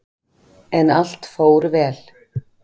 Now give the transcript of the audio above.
En allt fór vel.